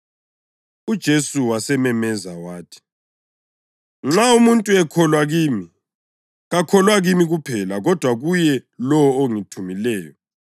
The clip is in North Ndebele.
UJesu wasememeza wathi, “Nxa umuntu ekholwa kimi, kakholwa kimi kuphela kodwa kuye lowo ongithumileyo.